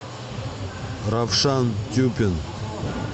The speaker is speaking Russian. равшан тюпин